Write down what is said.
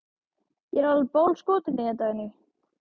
Ég er alveg bálskotinn í þér, Dagný!